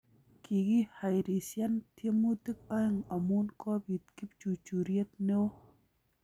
Kogihairisyan tiemutik aeng amu kobiit kipchurchuriet neoo